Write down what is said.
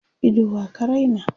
Ido wa ka Raina?